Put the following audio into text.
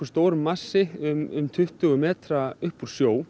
stór massi um tuttugu metra upp úr sjó